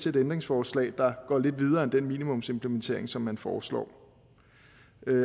et ændringsforslag der går lidt videre end den minimumsimplementering som man foreslår